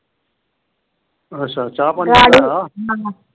ਅੱਛਾ ਚਾਹ ਪਾਣੀ .